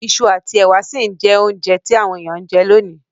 Isu àtí èwà si n je ounje ti àwon èyàn n je lonìí